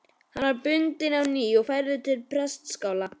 Hann var bundinn á ný og færður til prestaskála.